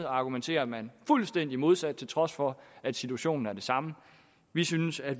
argumenterer man fuldstændig modsat til trods for at situationen er den samme vi synes at